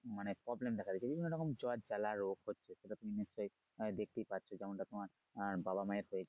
মানে problem দেখা দেয় বিভিন্ন রকম জ্বর জ্বালা রোগ হচ্ছে সেটা তুমি আহ দেখতেই পাচ্ছো যেমন টা তোমার বাবা মায়ের হয়েছে।